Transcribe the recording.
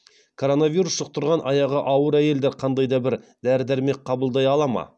коронавирус жұқтырған аяғы ауыр әйелдер қандай да бір дәрі дәрмек қабылдай ала ма